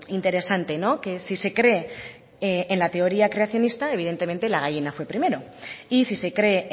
interesante que si se cree en la teoría creacionista evidentemente la gallina fue primero y si se cree